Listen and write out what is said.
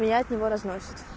меня от него разносит